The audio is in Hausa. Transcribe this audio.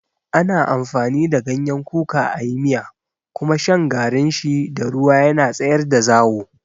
Ana amfani da ganyen kuka a yi miya kuma shan garin shi da ruwa yana tsayar da zawo.